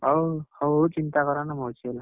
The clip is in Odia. ହଉ ହଉ, ଚିନ୍ତା କରନି ମୁଁ ଅଛି ହେଲା।